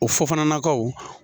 O fofananakaw.